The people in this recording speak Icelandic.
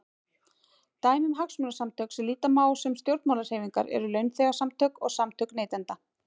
Dæmi um hagsmunasamtök sem líta má á sem stjórnmálahreyfingar eru launþegasamtök og samtök neytenda.